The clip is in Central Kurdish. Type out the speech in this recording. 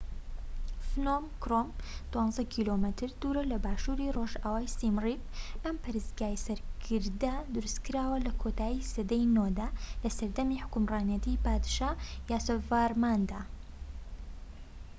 فنۆم کرۆم، ١٢ کیلۆمەتر دوور لە باشووری ڕۆژئاوای سیم ریپ. ئەم پەرستگای سەر گردە دروستکراوە لە کۆتایی سەدای ٩ دا لە سەردەمی حوکمڕانیتی پادشا یاسۆڤارماندا